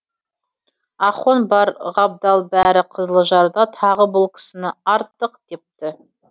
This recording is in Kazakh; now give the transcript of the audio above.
ахон бар ғабдал бәрі қызылжарда тағы бұл кісіні артық депті